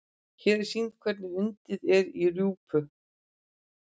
Hér er sýnt hvernig undið er í rjúpu.